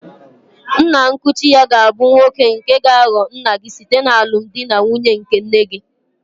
Nna nkuchi-ya gābu nwoke nke gāghọ nna-gi site n'alụmdi na nwunye nke nne-gi.